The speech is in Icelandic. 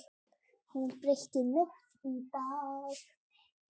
Hún breytti nótt í dag.